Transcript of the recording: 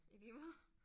I lige måde